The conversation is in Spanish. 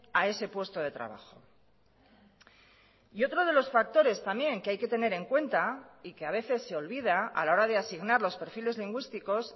a ese puesto de trabajo y otro de los factores también que hay que tener en cuenta y que a veces se olvida a la hora de asignar los perfiles lingüísticos